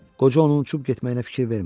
Qoca onun uçub getməyinə fikir vermədi.